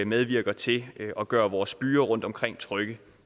medvirker til at gøre vores byer rundtomkring trygge